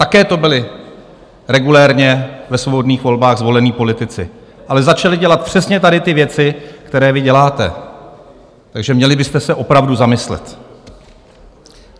Také to byli regulérně ve svobodných volbách zvolení politici, ale začali dělat přesně tady ty věci, které vy děláte, takže měli byste se opravdu zamyslet.